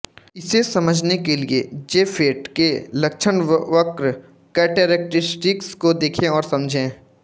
इसे समझने के लिए जेफेट के लक्षणवक्र कैरेक्टिस्टिक्स को देखें और समझें